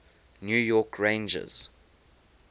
new york rangers